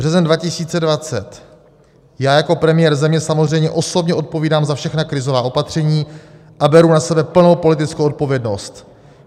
Březen 2020: Já jako premiér země samozřejmě osobně odpovídám za všechna krizová opatření a beru na sebe plnou politickou odpovědnost.